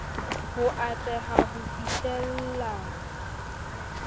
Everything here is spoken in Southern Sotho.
ho a atleha ho fihlella